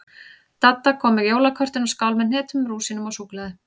Dadda kom með jólakortin og skál með hnetum, rúsínum og súkkulaði.